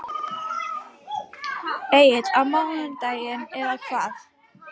Egill: Á mánudaginn eða hvað?